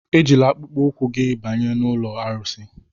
Ejila akpụkpọ ụkwụ gị banye n'ụlọ arụsị!